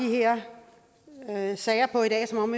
her sager på i dag som om